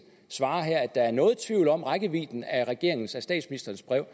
svarer at der er noget tvivl om rækkevidden af regeringens af statsministerens brev